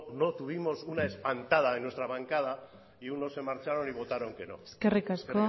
no tuvimos una espantada en nuestra bancada y unos se marcharon y votaron que no eskerrik asko